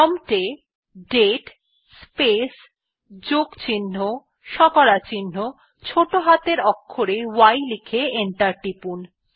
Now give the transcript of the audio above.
prompt এ দাতে space যোগ চিহ্ন শতকরা চিহ্ন ছোটো হাতের অক্ষরে y লিখে এন্টার টিপুন